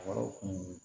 Wɛrɛw kun